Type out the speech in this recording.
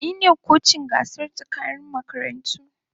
Ni ne kocin daga gasar tsakanin makarantu.